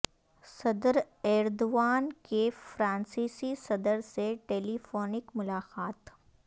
صدر ایردوان کی فرانسیسی صدر سے ٹیلی فونک ملاقات